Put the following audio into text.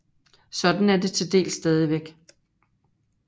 Sådan er det til dels stadigvæk